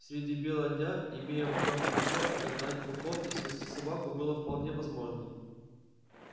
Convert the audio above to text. среди бела дня имея в руках ружье отогнать волков и спасти собаку было вполне возможно